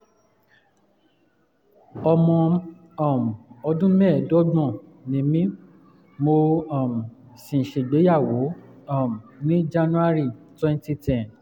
ọmọ um ọdún mẹ́ẹ̀ẹ́dọ́gbọ̀n ni mí mo um sì ṣègbéyàwó um ní january twenty ten